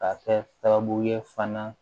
Ka kɛ sababu ye fana